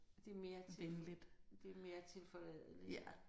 Det er mere til det er mere tilforladeligt